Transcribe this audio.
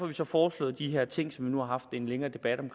vi så foreslået de her ting som vi nu har haft en længere debat om